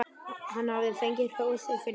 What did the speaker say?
Hann hafði fengið hrós fyrir þær.